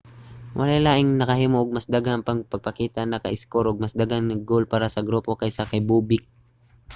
walay laing nakahimo og mas daghang pagpakita o naka-iskor og mas daghan nga goal para sa grupo kaysa kay bobek